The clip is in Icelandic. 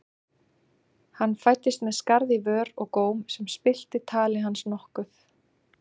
Hann fæddist með skarð í vör og góm sem spillti tali hans nokkuð.